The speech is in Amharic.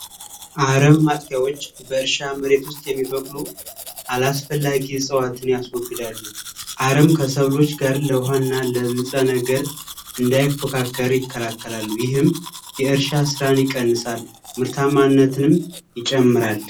አረም ማጥፊያዎች በእርሻ መሬት ውስጥ የሚበቅሉ አስፈላጊ ነው ያስወግዳሉ አርም ከሰው ልጅ ጋርና ነገር እንዳይፎካከር ይከላከላሉ ይህም የእርሻ ምርታማነትንም ይጨምራል።